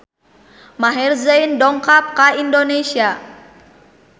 Maher Zein dongkap ka Indonesia